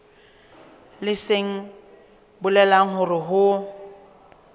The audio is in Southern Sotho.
leng se bolelang hore ho